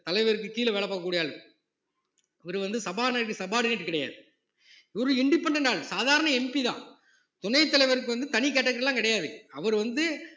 தலைவருக்குக் கீழே வேலை பார்க்கக் கூடிய ஆளு இவரு வந்து சபாநாயகருக்கு subordinate கிடையாது ஒரு independent ஆளு சாதாரண MP தான் துணைத் தலைவருக்கு வந்து தனி category எல்லாம் கிடையாது அவர் வந்து